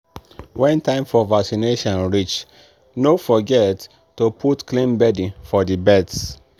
when time for vaccination reach no forget to put clean bedding for the birds.